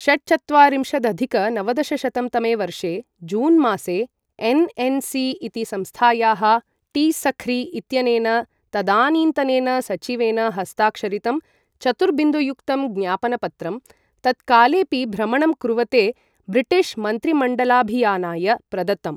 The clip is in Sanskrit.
षट्चत्वारिंशदधिक नवदशशतं तमे वर्षे जूनमासे एन् एन् सी इति संस्थायाः टी.सख्री इत्यनेन तदानीन्तनेन सचिवेन हस्ताक्षरितं चतुर्बिन्दुयुक्तं ज्ञापनपत्रं तत्कालेपि भ्रमणं कुर्वते ब्रिटिश मन्त्रिमण्डलाभियानाय प्रदत्तम्।